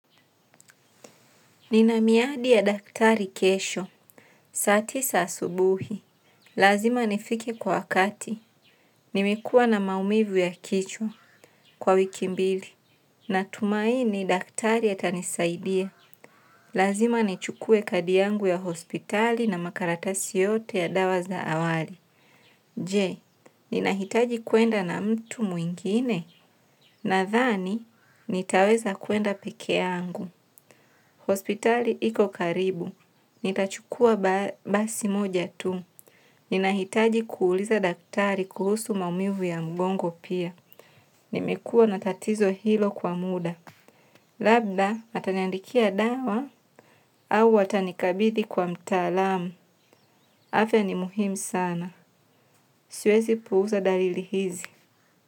Ninamiadi ya daktari kesho, saa tisa asubuhi, lazima nifike kwa wakati, nimekuwa na maumivu ya kichwa kwa wiki mbili, na tumaini daktari atanisaidia, lazima nichukue kadi yangu ya hospitali na makaratasi yote ya dawa za awali. Je, ninahitaji kuenda na mtu mwingine? Nathani, nitaweza kuenda pekeangu. Hospitali iko karibu. Nitachukua basi moja tu. Ninahitaji kuuliza daktari kuhusu maumivu ya mgongo pia. Nimekua natatizo hilo kwa muda. Labda ataniandikia dawa au atanikabithi kwa mtaalamu. Afya ni muhimu sana. Siwezi puuza dalili hizi.